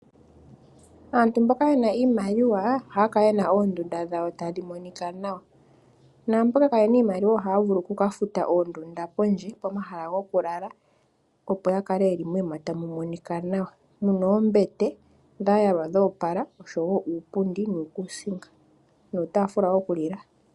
Aantu mboka ye na iimaliwa ohaya kala ye na oondunda dhawo tadhi monika nawa naamboka kaaye na iimaliwa ohaya vulu okukafuta oondunda pondje pomahala gokulala opo ya kale yeli moshiima tamu monika nawa mu na oombete dha yalwa dhoopala oshowo uupundi nuukuusinga nuutafula wokulila.